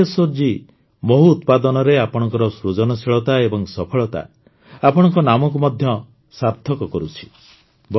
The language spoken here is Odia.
ମଧୁକେଶ୍ୱର ଜୀ ମହୁ ଉତ୍ପାଦନରେ ଆପଣଙ୍କ ସୃଜନଶୀଳତା ଏବଂ ସଫଳତା ଆପଣଙ୍କ ନାମକୁ ମଧ୍ୟ ସାର୍ଥକ କରୁଛି